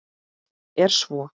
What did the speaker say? Fátt er svo.